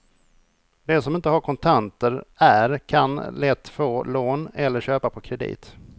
De som inte har kontanter är kan lätt få lån eller köpa på kredit.